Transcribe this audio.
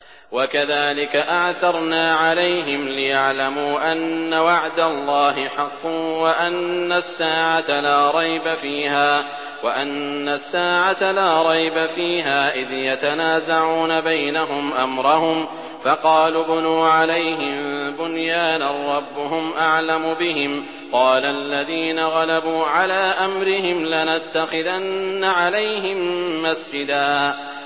وَكَذَٰلِكَ أَعْثَرْنَا عَلَيْهِمْ لِيَعْلَمُوا أَنَّ وَعْدَ اللَّهِ حَقٌّ وَأَنَّ السَّاعَةَ لَا رَيْبَ فِيهَا إِذْ يَتَنَازَعُونَ بَيْنَهُمْ أَمْرَهُمْ ۖ فَقَالُوا ابْنُوا عَلَيْهِم بُنْيَانًا ۖ رَّبُّهُمْ أَعْلَمُ بِهِمْ ۚ قَالَ الَّذِينَ غَلَبُوا عَلَىٰ أَمْرِهِمْ لَنَتَّخِذَنَّ عَلَيْهِم مَّسْجِدًا